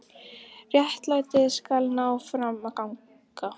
Réttlætið skal ná fram að ganga.